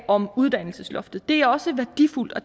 om uddannelsesloftet at er værdifuldt og